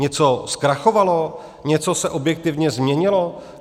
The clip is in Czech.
Něco zkrachovalo, něco se objektivně změnilo?